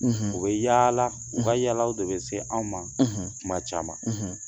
u bɛ yaala, u ka yaala de bɛ se anw ma kuma caman.